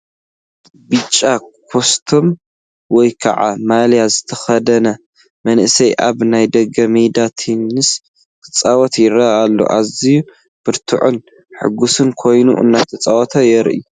ብጫ ኮስትሞ ወይ ከዓ ማልያ ዝተኸድነ መንእሰይ ኣብ ናይ ደገ ሜዳ ቴኒስ ክጻወት ይርአ ኣሎ። ኣዝዩ ብርቱዕን ሕጉስን ኮይኑ እንትፃወት የርኢ፡፡